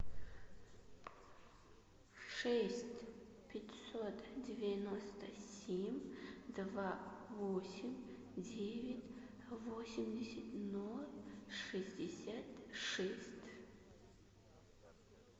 шесть пятьсот девяносто семь два восемь девять восемьдесят ноль шестьдесят шесть